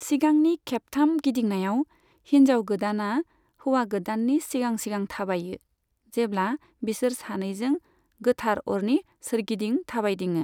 सिगांनि खेबथाम गिदिंनायाव, हिनजाव गोदाना हौवा गोदाननि सिगां सिगां थाबायो, जेब्ला बिसोर सानैजों गोथार अरनि सोरगिदिं थाबायदिङो।